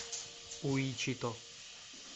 уичито